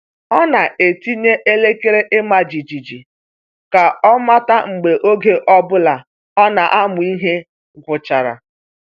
Ọ na-etinye elekere ịma jijiji ka ọ mata mgbe oge ọ bụla ọ na-amụ ihe gwụchara.